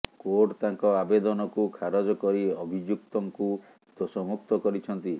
court ତାଙ୍କ ଆବେଦନକୁ ଖାରଜ କରି ଅଭିଯୁକ୍ତୁଙ୍କୁ ଦୋଷମୁକ୍ତ କରିଛନ୍ତି